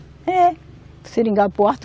É. Seringal Porto.